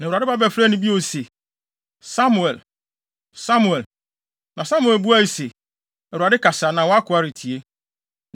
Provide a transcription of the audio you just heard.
Na Awurade ba bɛfrɛɛ bio se, “Samuel! Samuel!” Na Samuel buae se, “ Awurade kasa na wʼakoa retie.”